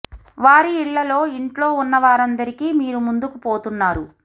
వారి ఇళ్లలో ఇంట్లో ఉన్న వారందరికి మీరు ముందుకు పోతున్నారు